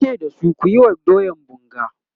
yace da su "kuyi wa doyan bunga!"